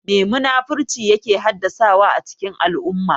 Me munafurci yake haddasawa a cikin al'umma?